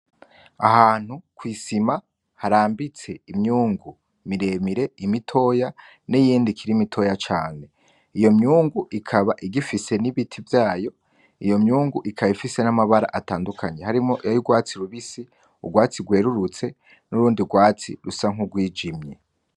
Ahantu kw'isima harambitse imyungu miremire, imitoya niyindi ikiri mitoya cane. Iyo myungu ikaba igifise n'ibiti vyayo. Iyo myungu ikaba ifise n'amabara atandukanye harimwo iryurwatsi rubisi, urwatsi rwerurutse nurundi rwatsi rusa n'urwijimye.